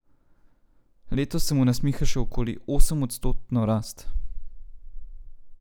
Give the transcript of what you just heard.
Letos se mu nasmiha še okoli osemodstotno rast.